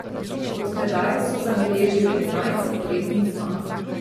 Od tedaj so zabeležili enajst zaporednih zmag.